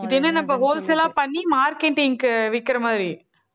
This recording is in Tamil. இது என்ன நம்ம wholesale ஆ பண்ணி marketing க்கு விற்கிற மாதிரி